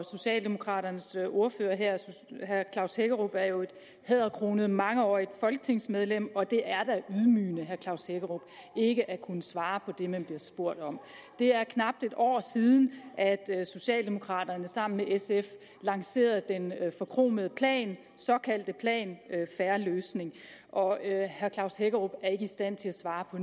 socialdemokraternes ordfører herre klaus hækkerup er jo et hæderkronet mangeårigt folketingsmedlem og det er da ydmygende ikke at kunne svare på det man bliver spurgt om det er knap et år siden at socialdemokraterne sammen med sf lancerede den forkromede plan den såkaldt fair løsning og herre klaus hækkerup er ikke i stand til at svare på